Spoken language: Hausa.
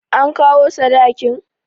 An kawo sadakin?